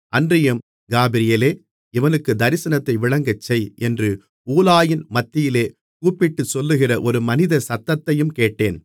அன்றியும் காபிரியேலே இவனுக்குத் தரிசனத்தை விளங்கச்செய் என்று ஊலாயின் மத்தியிலே கூப்பிட்டுச் சொல்லுகிற ஒரு மனித சத்தத்தையும் கேட்டேன்